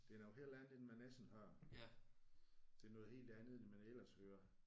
Det er noget helt andet end man ellers hører. Det er noget helt andet end man ellers hører